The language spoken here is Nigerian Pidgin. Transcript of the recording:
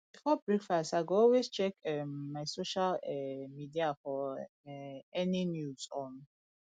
before breakfast i go always check um my social um media for um any news on